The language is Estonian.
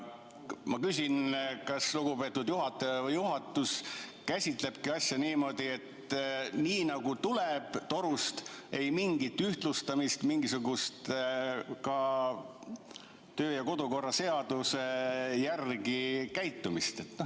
Ma küsin, kas lugupeetud juhataja või juhatus käsitlebki asja niimoodi, nagu torust tuleb – ei mingisugust ühtlustamist, ei mingisugust kodu- ja töökorra seaduse järgi käitumist.